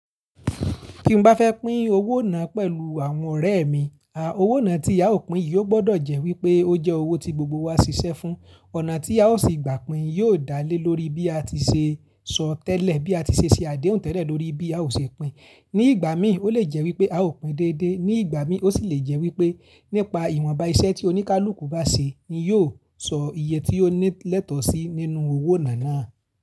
Kí n bá fẹ́ pín owó náà pẹ̀lú àwọn ọ̀rẹ́ mi, à owó náà tí a ó pín yìí ó gbọdọ̀ jẹ́ wí pé ó jẹ́ owó tí gbogbo wa ṣiṣẹ́ fún. Ọ̀nà tí a ó ṣe gbà pín yóò dálé lórí bí a ti ṣe sọ tẹ́lẹ̀, bí a ti ṣe ṣe àdéhùn tẹ́lẹ̀ lórí bí a ó ṣe pín. Ní ìgbà míì ó lè jẹ́ wí pé a ó pín dédé, ní ìgbà míì ó sì lè jẹ́ wí pé nípa ìwọ̀nba iṣẹ́ tí oníkálùkù bá ṣe ni yóò sọ iye tí ó ní lẹ́tọ̀ọ́ sí nínú owó náà náà.